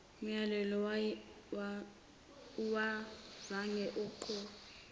mlayelo awuzange uguquke